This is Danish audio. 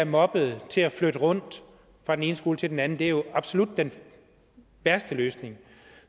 moppet til at flytte fra den ene skole til den anden for det er absolut den værste løsning